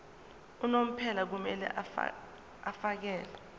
unomphela kumele afakele